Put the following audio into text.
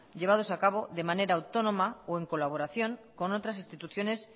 llevados a cabo de manera autónoma o en colaboración con otras instituciones